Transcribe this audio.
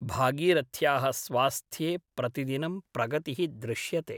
भागीरथ्याः स्वास्थ्ये प्रतिदिनं प्रगतिः दृश्यते ।